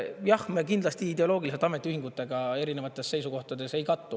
Me kindlasti ideoloogiliselt ametiühingutega erinevates seisukohtades ei kattu.